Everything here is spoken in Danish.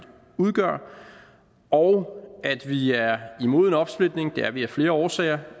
udgør og at vi er imod en opsplitning det er vi af flere årsager